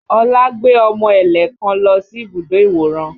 Olá gbé ọmọ ẹ̀lẹ̀ kan lọ sí ibùdó ìwòran